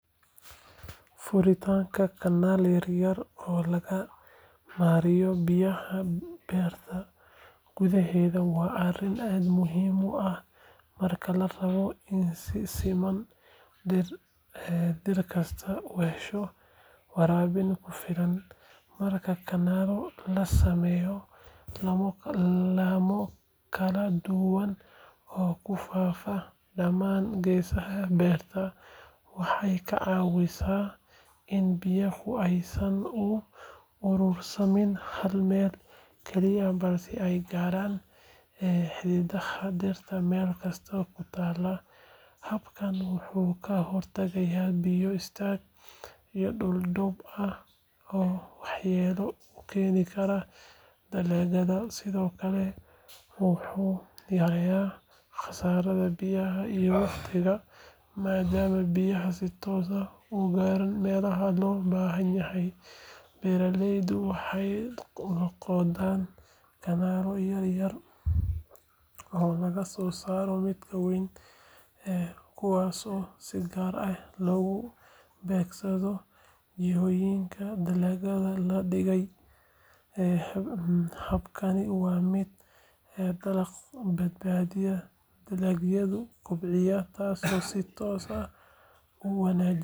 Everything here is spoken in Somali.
Waa sawir aad u xiiso badan oo muujinaya laba nin oo xirnaa jaakadaha shaybaarka kuwaas oo u muuqda dad aqoon u leh xanaanada xoolaha ama daaweynta xoolaha. Mid ka mid ah labada nin wuxuu qoortiisa suray ubax qurxoon oo muujinaya farxad, kalgacal iyo xiriir dhow oo uu la leeyahay deegaanka iyo xoolaha. Labadooduba waxay dhex taagan yihiin lo’o badan oo laga dareemayo caafimaad iyo daryeel wanaagsan. Sawirkan wuxuu astaan u yahay sida aqoonta casriga ah ee la xiriirta caafimaadka xoolaha loogu adeegsan karo si loo horumariyo xanaanada xoolaha loona hubiyo caafimaadkooda. Wuxuu sidoo kale muujinayaa kalgacalka iyo ixtiraamka qofka xoolaha u haya iyo xiriirka wanaagsan ee u dhexeeya bini'aadamka iyo xoolaha. Ubaxa qoorta saaran wuxuu astaan u noqon karaa mahadnaq, dabaaldeg ama munaasabad gaar ah.